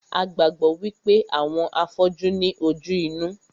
A gbàgbọ́ wípé àwọn afọ́jú ní ojú inú